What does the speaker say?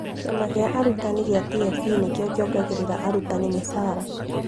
Kĩama gĩa arutani gĩa TSC nĩkĩo kĩongagĩrĩra arutani mĩcara